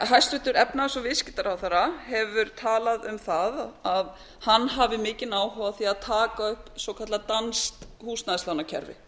hæstvirtur efnahags og viðskiptaráðherra hefur talað um það að hann hafi mikinn áhuga á því að taka upp svokallað danskt húsnæðislánakerfi